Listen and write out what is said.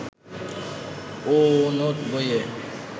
ও note বইয়ে